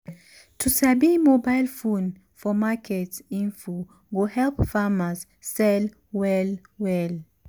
to sabi mobile phone for market info go help farmers sell well well